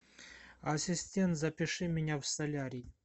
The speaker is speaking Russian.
ассистент запиши меня в солярий